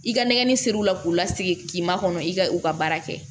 I ka nɛgɛnni seri u la k'u lasigi k'i makɔnɔ i ka u ka baara kɛ